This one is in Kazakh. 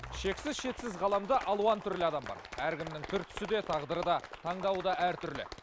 шексіз шетсіз ғаламда алуан түрлі адам бар әркімнің түр түсі де тағдыры да таңдауы да әртүрлі